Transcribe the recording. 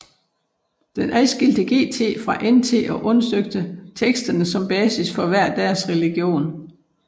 Den adskilte GT fra NT og undersøgte teksterne som basis for hver deres religion